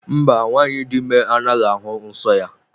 Mba, nwanyị dị ime anaghị ahụ nsọ ya.